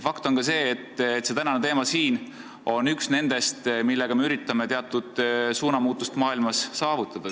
Fakt on ka see, et tänane teema on üks nendest, millega me üritame maailmas teatud suunamuutust saavutada.